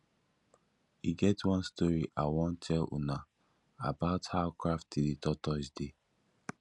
e get one story i wan tell una about how crafty the tortoise dey